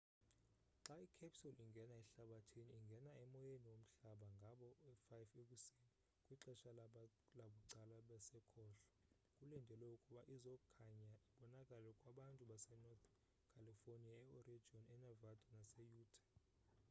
xa icapsule ingena ehlabathini ingene emoyeni womhlaba ngaboo 5 ekuseni kwixesha labucala basekhohlo kulindelwe ukuba izokhanya ibonakale kwabantu base-northen california e-oregon e-nevada nase-utah